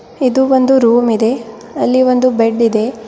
ಇದು ಒಂದು ರೂಮ್ ಇದೆ ಅಲ್ಲಿ ಒಂದು ಬೆಡ್ ಇದೆ.